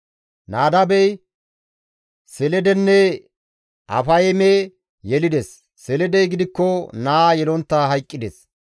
Nadaabey Seledenne Afayme yelides; Seledey gidikko naa yelontta hayqqides.